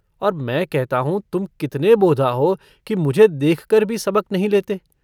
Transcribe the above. और मैं कहता हूँ तुम कितने बोधा हो कि मुझे देखकर भी सबक नहीं लेते।